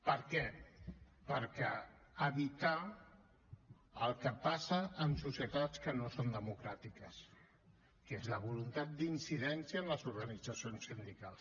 per què per evitar el que passa en societats que no són democràtiques que és la voluntat d’incidència en les organitzacions sindicals